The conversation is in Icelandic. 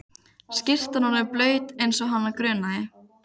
Skyrtan orðin blaut eins og hana grunaði.